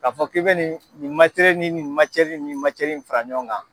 Ka fɔ k'i bɛ nin ni nin ni ni fara ɲɔgɔn kan.